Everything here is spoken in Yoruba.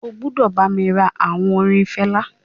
O gbúdọ̀ bá mi ra àwọn orin Fela.